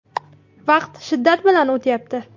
Vaqt shiddat bilan o‘tyapti.